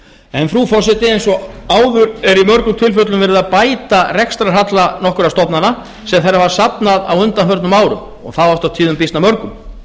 þar liggja fyrir eins og áður er í mörgum tilfellum verið að bæta rekstrarhalla nokkurra stofnana sem þær hafa safnað á undanförnum árum og það oft á tíðum býsna mörgum